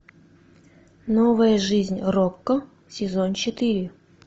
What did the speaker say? новая жизнь рокко сезон четыре